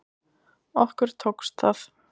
Okkur tókst það